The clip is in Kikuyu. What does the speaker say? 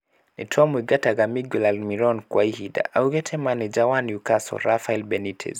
"Nitwamũingataga Miguel Almiron kwa ihinda,"augĩte maneja wa Newscatle Rafael Benitez